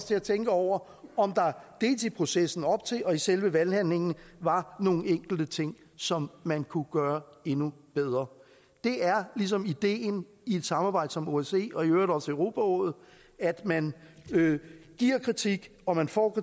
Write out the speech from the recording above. til at tænke over om der dels i processen op til dels i selve valghandlingen var nogle enkelte ting som man kunne gøre endnu bedre det er ligesom ideen i et samarbejde som osce og i øvrigt også i europarådet at man giver kritik og man får